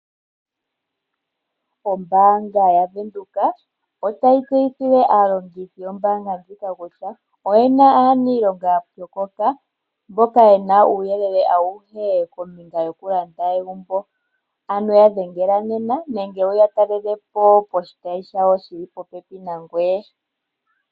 Ombaanga yaVenduka otayi tseyithile aalongithi yombaanga ndjika kutya oye na aaniilonga ya pyokoka mboka ye na uuyelele auhe kombinga yokulanda egumbo, ano ya dhengela nena nenge wu ya talele po poshitayi shawo shi li popepi nangoye.